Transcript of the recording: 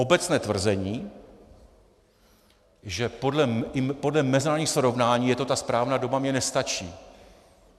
Obecné tvrzení, že podle mezinárodních srovnání je to ta správná doba, mně nestačí.